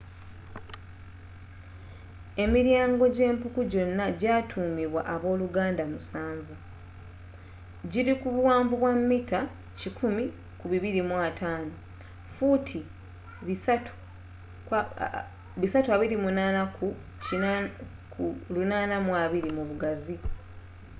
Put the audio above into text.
emilyaango gyempuku gyona egyatuumibwa abooluganda omusanvu”,giri kubuwanvu bwa mita 100 ku 250 fuuti 328 ku 820 mu bugazi